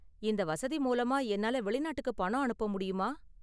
இந்த வசதி மூலமா என்னால வெளிநாட்டுக்கு பணம் அனுப்ப முடியுமா?